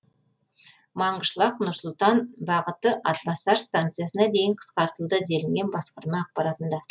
маңғышлақ нұр сұлтан бағыты атбасар станциясына дейін қысқартылды делінген басқарма ақпаратында